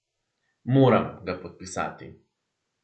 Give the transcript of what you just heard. Moram ga podpisati.